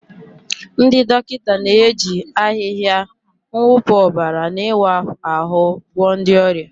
Ndị dọkịta na-eji ahịhịa, mwụpụ ọbara, na ịwa ahụ́ gwọọ ndị ọrịa.